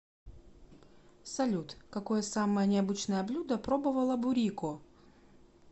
салют какое самое необычное блюдо пробовала бурико